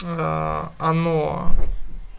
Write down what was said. оно